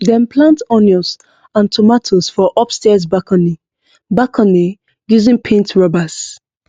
dem plant onions and tomatoes for upstairs balcony balcony using paint rubbers